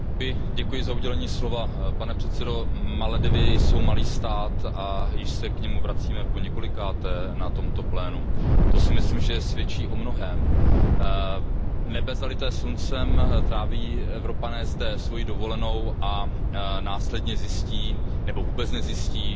Pane předsedající, Maledivy jsou malý stát a již se k němu vracíme poněkolikáté na tomto plénu. To si myslím, že svědčí o mnohém. Nebe zalité sluncem, Evropané zde tráví svoji dovolenou a následně zjistí nebo vůbec nezjistí, že v tamějších